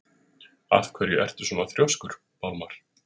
Af hverju ertu svona þrjóskur, Pálmar?